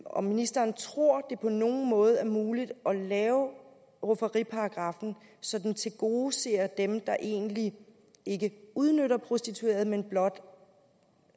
om ministeren tror det på nogen måde er muligt at lave rufferiparagraffen så den tilgodeser dem der egentlig ikke udnytter prostituerede men blot